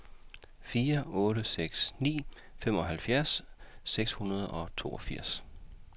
fire otte seks ni femoghalvfjerds seks hundrede og toogfirs